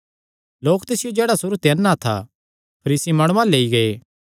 लोक तिसियो जेह्ड़ा सुरू ते अन्ना था फरीसी माणुआं अल्ल लेई गै